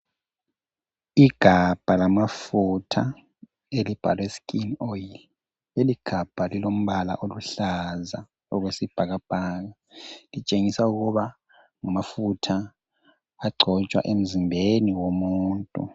Igabha lamafutha elibhalwe skin oil, leligabha lilombala oluhlaza okwesibhakabhaka, litshengisa ukuba ngamafutha agcotshwa emzimbeni womuntu.